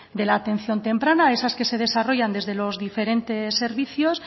de la atención temprana esas que se desarrollan desde los diferentes servicios